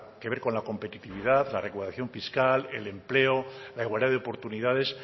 que ver con la competitividad la recaudación fiscal el empleo la igualdad de oportunidades